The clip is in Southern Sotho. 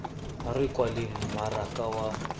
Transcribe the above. ha re kwaleng mmaraka wa